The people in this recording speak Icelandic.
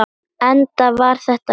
Enda var þetta gaman.